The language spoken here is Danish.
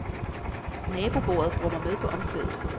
Nabobordet brummer med på omkvædet.